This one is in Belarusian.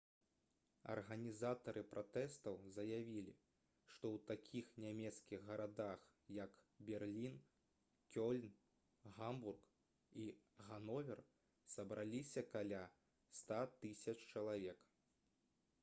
арганізатары пратэстаў заявілі што ў такіх нямецкіх гарадах як берлін кёльн гамбург і гановер сабраліся каля 100 000 чалавек